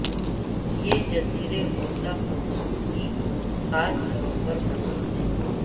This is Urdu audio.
یہ جزیرے غوطہ خوروں کی خاص طور پر پسند ہے